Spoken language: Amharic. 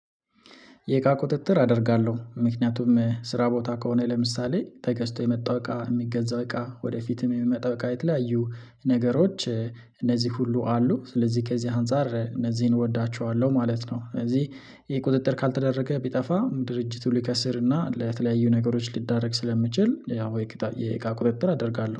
የእቃ ቁጥጥር አደርጋለሁ፤ ምክንያቱም ስራ ቦታ ከሆነ ለምሳሌ ተገዝቶ የመጣው እቃ የሚገዛው እቃ ወደፊትም የሚመጣ እቃ የተለያዩ ነገሮች እነዚህ ሁሉ አሉ፤ ስለዚህ ከዚህ አንፃር እነዚህን እወዳቸዋለሁ ማለት ነው፤ እዚህ ይሄ ቁጥጥር ካልተደረገ ቢጠፋ ድርጅቱ ሊከስር እና ለተለያዩ ነገሮች ሊዳረግ ስለሚችል ያው ወይ የእቃ ቁጥጥር አደርጋለሁ።